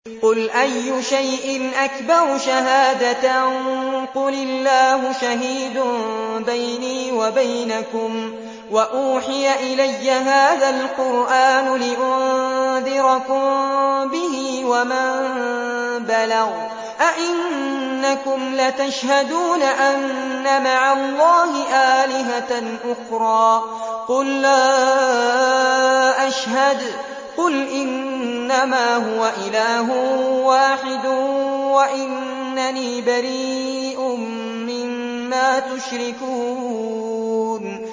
قُلْ أَيُّ شَيْءٍ أَكْبَرُ شَهَادَةً ۖ قُلِ اللَّهُ ۖ شَهِيدٌ بَيْنِي وَبَيْنَكُمْ ۚ وَأُوحِيَ إِلَيَّ هَٰذَا الْقُرْآنُ لِأُنذِرَكُم بِهِ وَمَن بَلَغَ ۚ أَئِنَّكُمْ لَتَشْهَدُونَ أَنَّ مَعَ اللَّهِ آلِهَةً أُخْرَىٰ ۚ قُل لَّا أَشْهَدُ ۚ قُلْ إِنَّمَا هُوَ إِلَٰهٌ وَاحِدٌ وَإِنَّنِي بَرِيءٌ مِّمَّا تُشْرِكُونَ